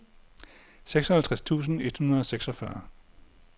seksoghalvtreds tusind et hundrede og seksogfyrre